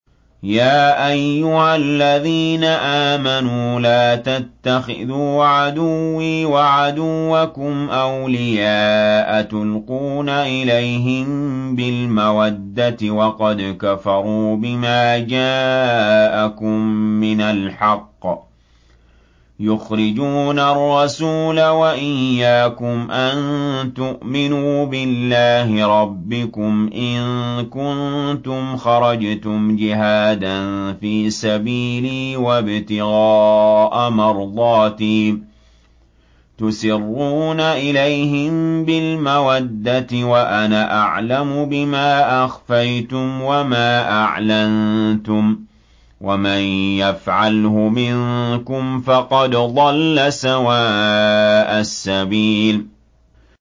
يَا أَيُّهَا الَّذِينَ آمَنُوا لَا تَتَّخِذُوا عَدُوِّي وَعَدُوَّكُمْ أَوْلِيَاءَ تُلْقُونَ إِلَيْهِم بِالْمَوَدَّةِ وَقَدْ كَفَرُوا بِمَا جَاءَكُم مِّنَ الْحَقِّ يُخْرِجُونَ الرَّسُولَ وَإِيَّاكُمْ ۙ أَن تُؤْمِنُوا بِاللَّهِ رَبِّكُمْ إِن كُنتُمْ خَرَجْتُمْ جِهَادًا فِي سَبِيلِي وَابْتِغَاءَ مَرْضَاتِي ۚ تُسِرُّونَ إِلَيْهِم بِالْمَوَدَّةِ وَأَنَا أَعْلَمُ بِمَا أَخْفَيْتُمْ وَمَا أَعْلَنتُمْ ۚ وَمَن يَفْعَلْهُ مِنكُمْ فَقَدْ ضَلَّ سَوَاءَ السَّبِيلِ